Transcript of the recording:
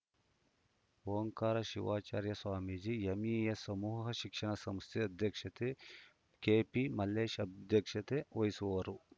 Omkara Shivacharya Swamiji MES ಸಮೂಹ ಶಿಕ್ಷಣ ಸಂಸ್ಥೆ ಅಧ್ಯಕ್ಷ ಕೆಪಿಮಲ್ಲೇಶ್‌ ಅಧ್ಯಕ್ಷತೆ ವಹಿಸುವರು